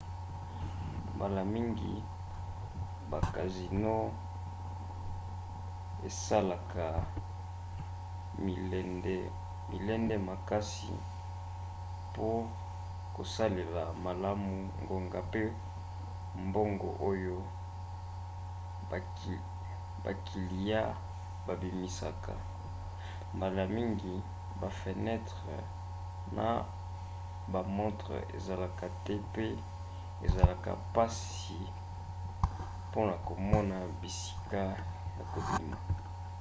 mbala mingi ba casinos esalaka milende makasi pour kosalela malamu ngonga mpe mbongo oyo bakiliya babimisaka. mbala mingi bafenetre na bamontre ezalaka te pe ezalaka mpasi na komona bisika ya kobima